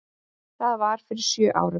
Það var fyrir sjö árum.